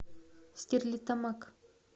стерлитамак